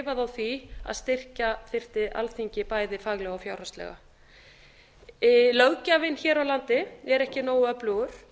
á því að styrkja þyrfti alþingi bæði faglega og fjárhagslega löggjafinn hér á landi er ekki nógu öflugur